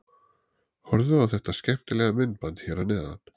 Horfðu á þetta skemmtilega myndband hér að neðan.